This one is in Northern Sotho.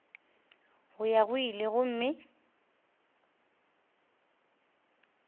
go ya go ile gomme